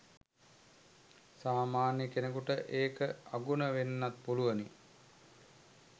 සාමාන්‍ය කෙනෙකුට ඒක අගුණ වෙන්නත් පුළුවනි.